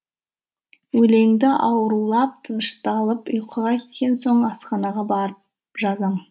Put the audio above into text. өлеңді аурулар тынышталып ұйқыға кеткен соң асханаға барып жазам